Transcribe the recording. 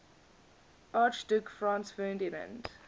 archduke franz ferdinand